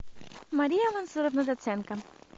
мария мансуровна даценко